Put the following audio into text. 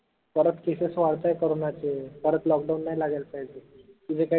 परत cases वाढताय corona चे परत lockdown नाई लागायला पाहिजे म्हनजे काही